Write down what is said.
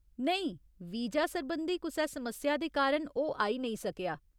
नेईं, वीजा सरबंधी कुसै समस्या दे कारण ओह् आई नेईं सकेआ।